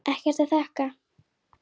Ekkert að þakka